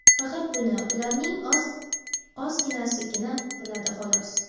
faqat buni ularning ozginasigina biladi, xolos.